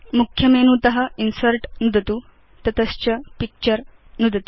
मुख्य मेनु त इन्सर्ट् नुदतु तत च पिक्चर नुदतु